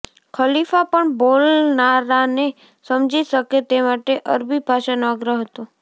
ખલીફા પણ બોલનારાને સમજી શકે તે માટે અરબી ભાષાનો આગ્રહ હતો